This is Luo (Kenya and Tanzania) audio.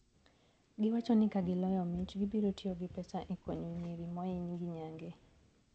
Giwachoni kagiloyo mich gibiro tiyo gi pesa ekonyo nyiri mohiny gi nyange.